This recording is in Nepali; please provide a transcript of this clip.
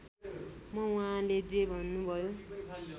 म उहाँले जे भन्नुभयो